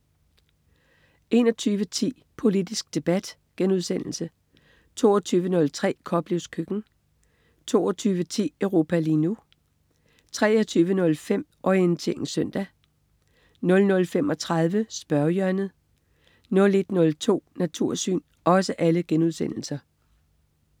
21.10 Politisk debat* 22.03 Koplevs køkken* 22.10 Europa lige nu* 23.05 Orientering søndag* 00.35 Spørgehjørnet* 01.02 Natursyn*